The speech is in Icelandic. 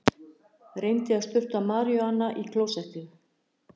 Reyndi að sturta maríjúana í klósettið